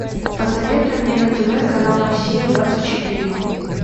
посоветуй мне на тв канал россия двадцать четыре